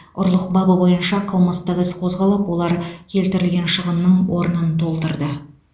ұрлық бабы бойынша қылмыстық іс қозғалып олар келтірілген шығынның орнын толтырды